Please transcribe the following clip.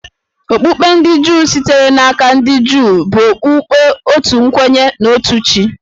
Okpukpe ndị Juu, sitere n’aka ndị Juu, bụ okpukpe otu kwenye na otu chi